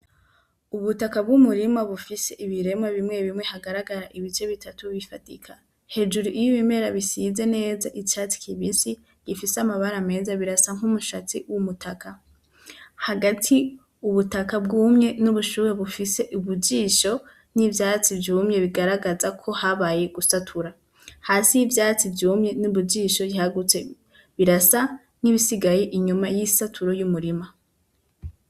Ubutaka bw'umurima bufise ibiremwa bimwe bimwe hagaragara ibice bitatu bifadika. Hejuru iyo ibimera bisize neza icatsi kibisi gifise amabara meza, birasa nk'umushatsi w'umutaka. Hagati ubutaka bwumye n'ubushuhe bufise ubujisho, n'ivyatsi vyumye bigaragaza ko habaye gusatura. Hasi y'ivyatsi vyumye n'ubujisho ntihagutse. Birasa nk'ibisigaye inyuma y'isatura ry'umurima.